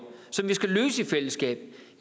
som vi skal løse i fællesskab